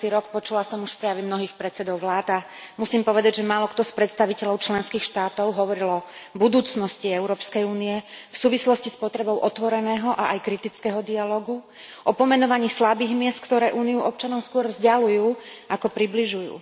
13. rok, počula som už prejavy mnohých predsedov vlád a musím povedať, že málokto z predstaviteľov členských štátov hovoril o budúcnosti EÚ v súvislosti s potrebou otvoreného a aj kritického dialógu, o pomenovaní slabých miest, ktoré Úniu občanom skôr vzďaľujú ako približujú.